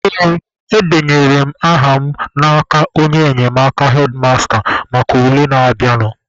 Ee, edenyere m aha mụ n'aka onye enyemaka hedmasta maka ule na-abịanụ.